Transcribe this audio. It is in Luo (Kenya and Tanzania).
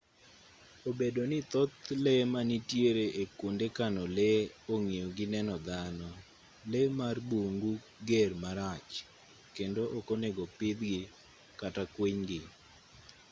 obedo ni thoth lee manitiere e kwonde kano lee ong'iyo gi neno dhano lee mar bungu ger marach kedo ok onego opidhgi kata kwinygi